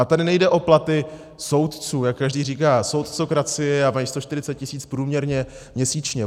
A tady nejde o platy soudců, jak každý říká soudcokracie, a mají 140 tis. průměrně měsíčně.